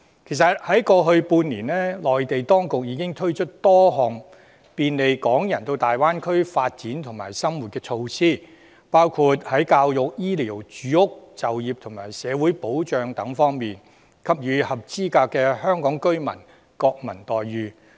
"其實在過去半年，內地當局已經推出多項便利港人到大灣區發展和生活的措施，包括在教育、醫療、住屋、就業和社會保障等方面，給予合資格的香港居民國民待遇。